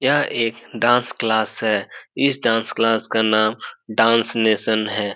यह एक dance class है। इस डांस क्लास का नाम डांस नेशन है।